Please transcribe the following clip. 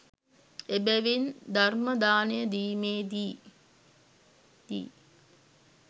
එබැවින් ධර්මදානය දීමේ දී